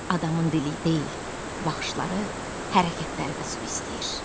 Adamın dili deyil, baxışları, hərəkətləri də su istəyir.